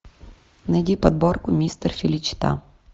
найди подборку мистер феличита